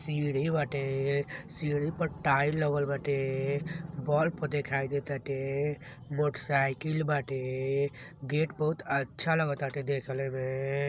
सीढ़ी बाटे सीढ़ी पर टाइल लागल बाटे बल्ब दिखाई दे ताटे मोटरसाइकिल बाटे गेट बहुत अच्छा लाग ताटे देखले में --